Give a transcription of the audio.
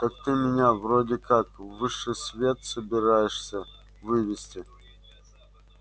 так ты меня вроде как в высший свет собираешься вывести